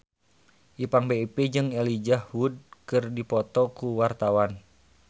Ipank BIP jeung Elijah Wood keur dipoto ku wartawan